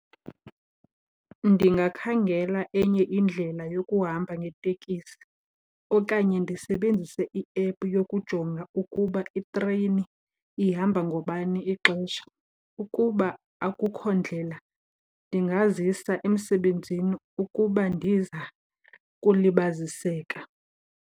Ndingakhangela enye indlela yokuhamba ngeetekisi okanye ndisebenzise i-app yokujonga ukuba itreyini ihamba ngabani ixesha. Ukuba akukho ndlela ndingazisa emsebenzini ukuba ndiza kulibaziseka.